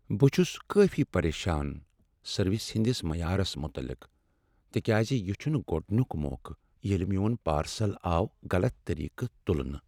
بہٕ چھس کافی پریشان سروس ہندس معیارس متعلق تکیازِ یِہ چھنہٕ گۄڈنیک موقع ییلِہ میون پارسل آو غلط طریقہٕ تلنہٕ۔